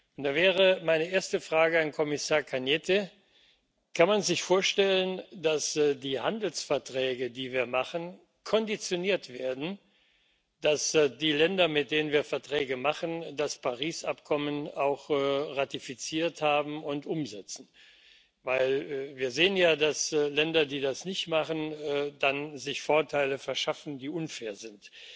Und da wäre meine erste Frage an Kommissar Arias Cañete Kann man sich vorstellen, dass die Handelsverträge, die wir machen, konditioniert werden, dass die Länder, mit denen wir Verträge machen, das Übereinkommen von Paris auch ratifiziert haben und umsetzen? Wir sehen ja, dass Länder, die das nicht machen, sich dann Vorteile verschaffen, die unfair sind.